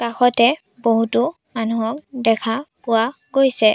কাষতে বহুতো মানুহক দেখা পোৱা গৈছে।